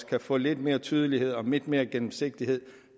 kan få lidt mere tydelighed og lidt mere gennemsigtighed